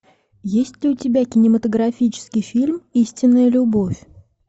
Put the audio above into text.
есть ли у тебя кинематографический фильм истинная любовь